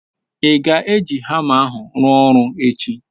I ga-eji hama ahu rua oru echi?